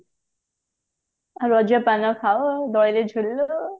ରଜ ପାନ ଖାଉ ଦୋଳି ଝୁଲୁ